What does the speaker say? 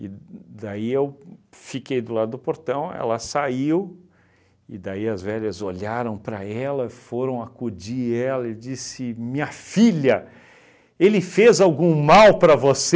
daí eu fiquei do lado do portão, ela saiu, e daí as velhas olharam para ela, foram acudir ela e disse, minha filha, ele fez algum mal para